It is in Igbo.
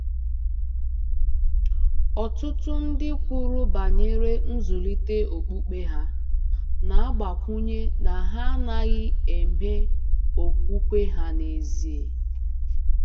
Ọtụtụ ndị kwuru banyere nzụlite okpukpe ha, na-agbakwụnye na ha anaghị eme okwukwe ha n'ezie.